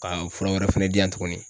Ka fura wɛrɛ fɛnɛ di yan tuguni